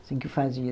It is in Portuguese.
assim que fazia.